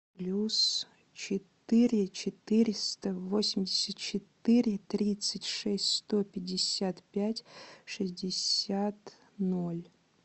плюс четыре четыреста восемьдесят четыре тридцать шесть сто пятьдесят пять шестьдесят ноль